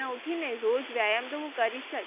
ઉઠીને રોજ વ્યાયામ તો હું કરીશ જ.